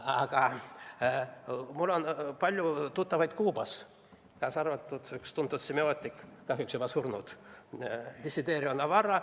Aga mul on palju tuttavaid Kuubas, kaasa arvatud üks tuntud semiootik, kahjuks juba surnud, Desiderio Navarro.